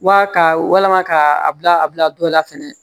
Wa ka walama ka a bila a bila dɔ la fɛnɛ